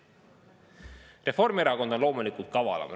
Reformierakond on loomulikult kavalam.